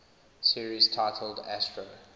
series titled astro